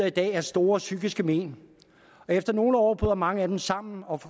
i dag store psykiske men og efter nogle år bryder mange af den samme og